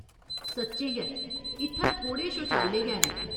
सच्चें गै, इत्थे थोह्ड़े शौचालय गै न।